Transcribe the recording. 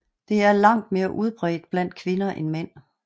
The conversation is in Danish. Det er langt mere udbredt blandt kvinder end mænd